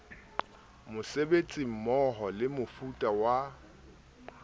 mosebetsi mmoho le mofuta wa